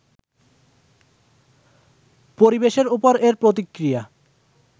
পরিবেশের ওপর এর প্রতিক্রিয়া